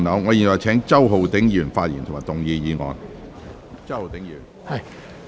我現在請周浩鼎議員發言及動議議案。